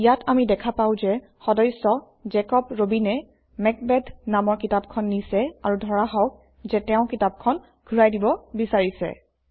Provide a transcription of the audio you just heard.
ইয়াত আমি দেখা পাওঁ যে সদস্য জেকব Robin এ মেকবেথ নামৰ কিতাপখন নিছে আৰু ধৰা হওক যে তেওঁ কিতাপখন ঘূৰাই দিব বিচাৰিছে